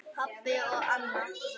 Pabbi og Anna.